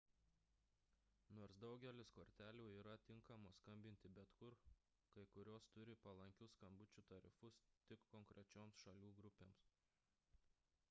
nors daugelis kortelių yra tinkamos skambinti bet kur kai kurios turi palankius skambučių tarifus tik konkrečioms šalių grupėms